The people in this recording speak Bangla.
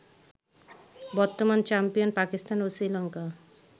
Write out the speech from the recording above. বর্তমান চ্যাম্পিয়ন পাকিস্তান ও শ্রীলঙ্কা